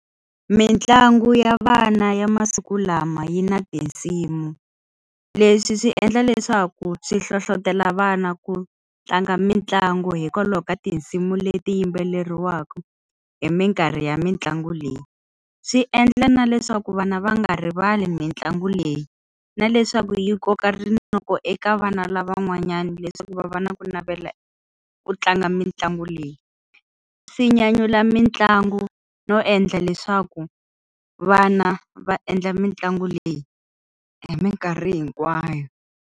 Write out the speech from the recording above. Mintlangu ya vana ya masiku lama yi na tinsimu. Leswi swi endla leswaku swi hlohletelo vana ku tlanga mitlangu hikwalaho ka tinsimu leti yimbelariwaka hi minkarhi ya mitlangu leyi. Swi endla na leswaku vana va nga rivali mitlangu leyi, na leswaku yi koka rinoko eka vana lavan'wanyani leswaku va va na ku navela ku tlanga mitlangu leyi. Swi nyanyula mitlangu no endla leswaku vana va endla mitlangu leyi hi minkarhi hinkwayo.